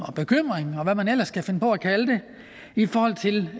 bekymring og hvad man ellers kan finde på at kalde det i forhold til